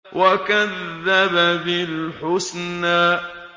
وَكَذَّبَ بِالْحُسْنَىٰ